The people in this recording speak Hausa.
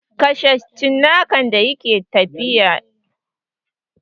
Kashe cinnakan da ke tafiya!